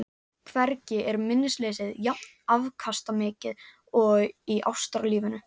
Hvergi er minnisleysið jafn afkastamikið og í ástarlífinu.